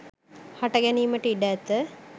හට ගැනීමට ඉඩ ඇත